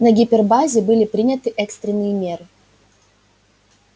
на гипербазе были приняты экстренные меры